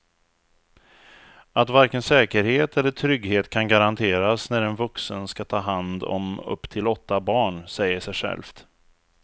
Att varken säkerhet eller trygghet kan garanteras när en vuxen ska ta hand om upp till åtta barn säger sig självt.